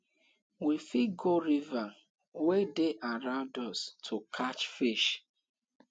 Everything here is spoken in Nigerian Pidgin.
we fit go river wey dey around us to catch fish